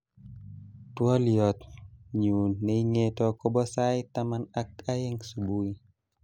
Twoliotnyu neingeto kobo sait taman ak aeng subui